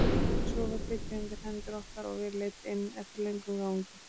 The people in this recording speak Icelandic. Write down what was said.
En svo var tekið undir hendur okkar og við leidd inn eftir löngum gangi.